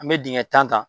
An bɛ dingɛ tan ta